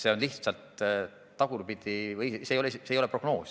See on lihtsalt tagasivaade, see ei ole prognoos.